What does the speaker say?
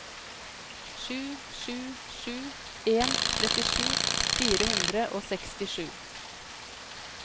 sju sju sju en trettisju fire hundre og sekstisju